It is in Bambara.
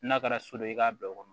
N'a kɛra so dɔ ye i k'a bɛɛ kɔnɔ